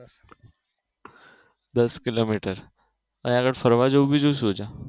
દસ કિલોમીટર અહિયાં આગળ ફરવા જેવું બીજું શું છે?